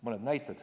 Mõni näide.